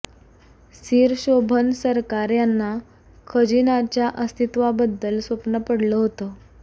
सीर शोभन सरकार यांना खजिन्याच्या अस्तित्वाबद्दल स्वप्न पडलं होतं